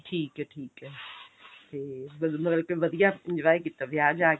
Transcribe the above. ਠੀਕ ਹੈ ਠੀਕ ਹੈ ਤੇ ਹੋਰ ਮਤਲਬ ਕੀ ਵਧੀਆ enjoy ਕੀਤਾ ਵਿਆਹ ਜਾਕੇ